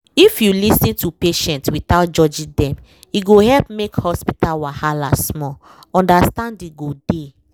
if you lis ten to patient without judging dem e go help make hospital wahala small — understanding go dey